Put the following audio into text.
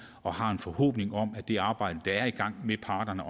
og har en forhåbning om at det arbejde der er i gang med parterne